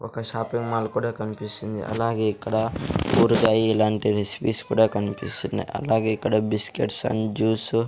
ఒక shopping mall కూడా కనిపిస్తుంది అలాగే ఇక్కడ ఊరగాయ ఇలాంటి రెసిపీస్ కూడా కనిపిస్తున్నాయి అలాగే ఇక్కడ బిస్కెట్స్ అండ్ జ్యూస్ --